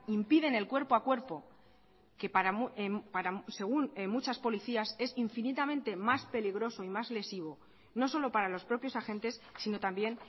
impiden el cuerpo a cuerpo que según muchas policías es infinitamente más peligroso y más lesivo no solo para los propios agentes sino también